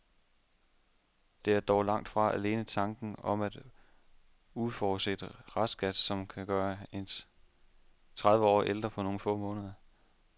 Det er dog langt fra alene tanken om en uforudset restskat, som kan gøre en tredive år ældre på nogle få måneder.